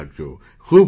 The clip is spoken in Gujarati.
ખૂબ ખૂબ ધન્યવાદ